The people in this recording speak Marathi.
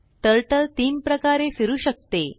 Turtleतीन प्रकारे फिरू शकते